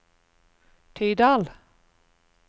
Tydal